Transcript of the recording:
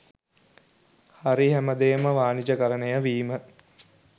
හරි හැමදේම වානිජකරණය වීම